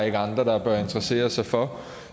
er andre der bør interessere sig for